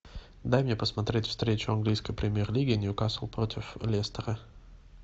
дай мне посмотреть встречу английской премьер лиги ньюкасл против лестера